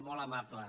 molt amable